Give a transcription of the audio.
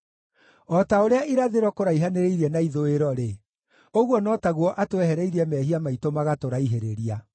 o ta ũrĩa irathĩro kũraihanĩrĩirie na ithũĩro-rĩ, ũguo no taguo atwehereirie mehia maitũ magatũraihĩrĩria.